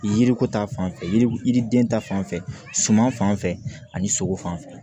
Yiriko ta fan fɛ yiri yiriden ta fan fɛ suman fan fɛ ani sogo fan fɛ